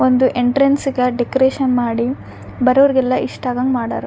ಒಂದು ಎಂಟ್ರನ್ಸ್ಗ ಡೆಕೋರೇಷನ್ ಮಾಡಿ ಬರೋರ್ಗ್ ಎಲ್ಲ ಇಷ್ಟ ಆಗಾಂಗ್ ಮಾಡರ.